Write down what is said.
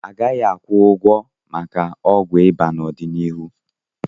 A gaghị akwụ ụgwọ maka ọgwụ ịba n'ọdịnihu.